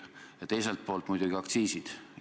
Ja teiselt poolt muidugi aktsiisid.